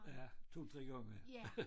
Ja 2 3 gange